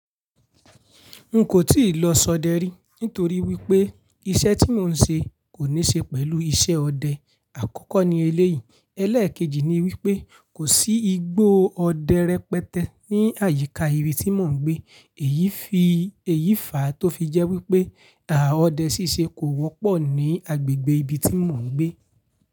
N kò tíì lọ ṣọdẹ rí, nítorí wípé iṣẹ́ tí mò ń ṣe kò ní ṣe pẹ̀lú iṣẹ́ ọdẹ. Àkọ́kọ́ ni eléyìí, ẹlẹ̀kejì ni wípé kò sí igbó ọdẹ rẹpẹtẹ ní àyíká ibi tí mò ń gbe. Èyí fi èyí fà tó fi jẹ́ wípé, àà ọdẹ ṣíṣe kò wọ́pọ̀ ní agbègbè ibi tí mò ń gbé.